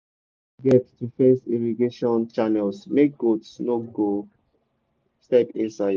no forget to fence irrigation channels make goat no go step inside.